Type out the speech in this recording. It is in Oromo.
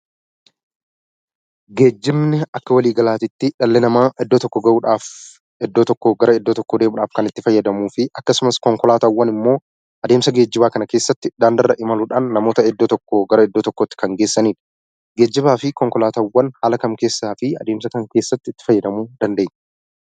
Geejjibni akka walii galaatittii dhalli namaa iddoo tokko ga'uudhaaf, iddoo tokkoo gara iddoo tokkoo deemuudhaaf kan itti fayyadamuufi akkasumas konkolaataawwan immoo adeemsa geejjibaa kana keessatti daandirra imaluudhaan namoota iddoo tokkoo gara iddoo tokkootti kan geessanidha. geejjibaa fi konkolaataawwan haala kam keessaa fi adeemsa kam keessatti itti fayyadamuu dandeenya?